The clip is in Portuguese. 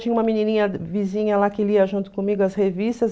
Tinha uma menininha vizinha lá que lia junto comigo as revistas.